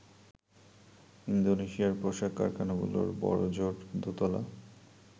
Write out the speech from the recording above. ইন্দোনেশিয়ার পোশাক কারখানাগুলো বড়জোর দোতলা।